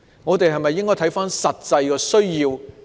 我們應否考慮實際的需要？